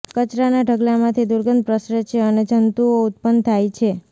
કચરાના ઢગલામાંથી દુર્ગંધ પ્રસરે છે અને જંતુઓ ઉત્પન્ન થાય છે